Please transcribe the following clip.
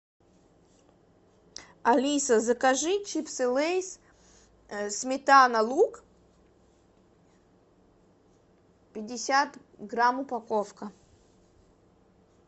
алиса закажи чипсы лейс сметана лук пятьдесят грамм упаковка